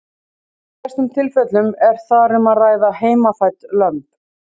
Í flestum tilfellum er þar um að ræða heimafædd lömb.